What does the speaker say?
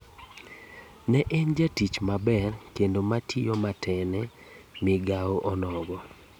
Ne en jatich maber kendo matiyo mate ne migao onogo